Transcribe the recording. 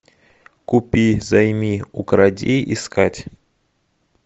купи займи укради искать